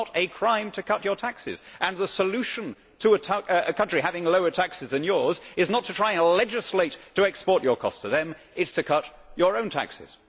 It is not a crime to cut your taxes, and the solution to a country having lower taxes than yours is not to try and legislate, to export your costs to them it is to cut your own taxes.